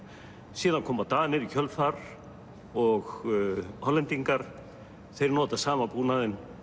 síðan koma Danir í kjölfar og Hollendingar þeir nota sama búnaðinn